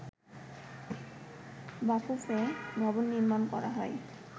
বাফুফে ভবন নির্মাণ করা হয়